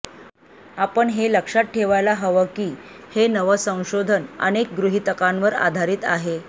आपण हे लक्षात ठेवायला हवं की हे नवं संशोधन अनेक गृहितकांवर आधारित आहे